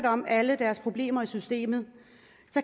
om alle deres problemer i systemet